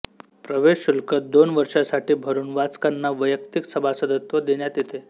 प्रवेश शुल्क दोन वर्षांसाठी भरून वाचकांना वैयक्तिक सभासदत्व देण्यात येते